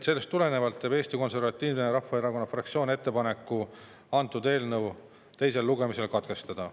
Sellest tulenevalt teeb Eesti Konservatiivse Rahvaerakonna fraktsioon ettepaneku eelnõu teine lugemine katkestada.